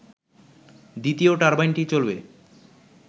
দ্বিতীয় টারবাইনটি চলবে